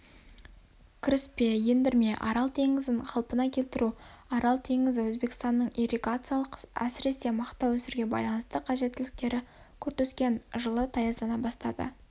кіріспе ендірме арал теңізін қалпына келтіру арал теңізі өзбекстанның ирригациялық сіресе мақта өсіруге байланысты қажеттіліктері күрт өскен жылы таяздана бастады